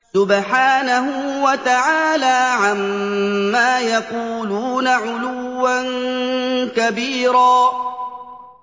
سُبْحَانَهُ وَتَعَالَىٰ عَمَّا يَقُولُونَ عُلُوًّا كَبِيرًا